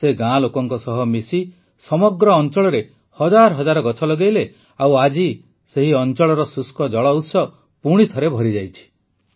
ସେ ଗାଁ ଲୋକଙ୍କ ସହ ମିଶି ସମଗ୍ର ଅଂଚଳରେ ହଜାର ହଜାର ଗଛ ଲଗାଇଲେ ଓ ଆଜି ସେହି ଅଂଚଳର ଶୁଷ୍କ ଜଳଉତ୍ସ ପୁଣିଥରେ ଭରିଯାଇଛି